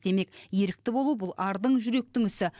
демек ерікті болу бұл ардың жүректің ісі